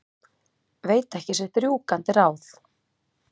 Veit ekki sitt rjúkandi ráð.